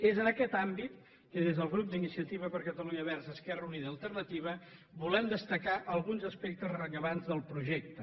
és en aquest àmbit que des del grup iniciativa per catalunya verds esquerra unida i alternativa volem destacar alguns aspectes rellevants del projecte